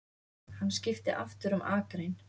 Hann skipti aftur um akrein.